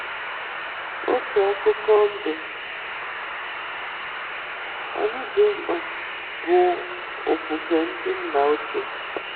Otu akụkụ ndụ anyị dị mkpa bụ ofufe ndị nna ochie